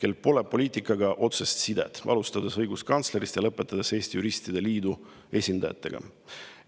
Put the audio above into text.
kellel pole poliitikaga otsest sidet, alustades õiguskantslerist ja lõpetades Eesti Juristide Liidu esindajatega.